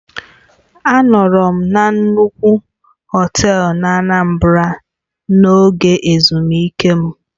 Anọru m na nnukwu họtel n'Anambra n'oge ezumike m.